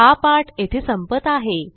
हा पाठ येथे संपत आहे